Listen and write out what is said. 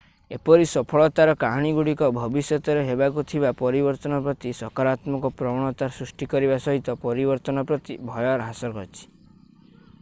ଏପରି ସଫଳତାର କାହାଣୀଗୁଡ଼ିକ ଭବିଷ୍ୟତରେ ହେବାକୁ ଥିବା ପରିବର୍ତ୍ତନ ପ୍ରତି ସକାରାତ୍ମକ ପ୍ରବଣତା ସୃଷ୍ଟି କରିବା ସହିତ ପରିବର୍ତ୍ତନ ପ୍ରତି ଭୟ ହ୍ରାସ କରିଛି